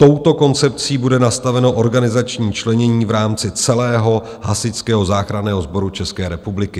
Touto koncepcí bude nastaveno organizační členění v rámci celého Hasičského záchranného sboru České republiky.